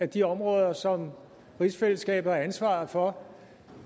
de områder som rigsfællesskabet har ansvaret for